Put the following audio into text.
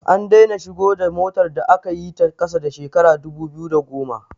An daina shigo da motar da aka yi ta ƙasa da shekarar 2010